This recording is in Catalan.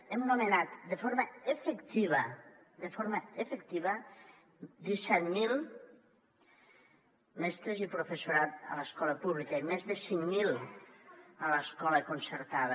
hem nomenat de forma efectiva de forma efectiva disset mil mestres i professorat a l’escola pública i més de cinc mil a l’escola concertada